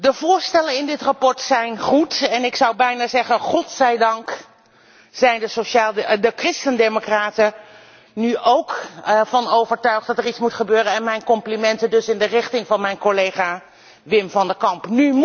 De voorstellen in dit verslag zijn goed en ik zou bijna zeggen God zij dank zijn de christen democraten er nu ook van overtuigd dat er iets moet gebeuren. Mijn complimenten dus in de richting van mijn collega Wim van de Camp.